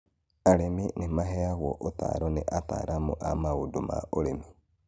Arĩmi nĩ maheagwo ũtaaro nĩ ataaramu a maũndũ ma ũrĩmi.